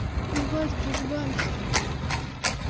ебать богдан